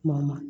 Kuma